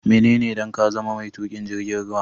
Menene dan ka zama mai tuƙin jirgin ruwa?